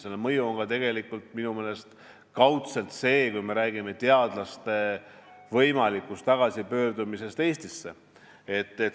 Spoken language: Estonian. Selle mõju on minu meelest kaudselt ka see, et me räägime teadlaste võimalikust tagasipöördumisest Eestisse.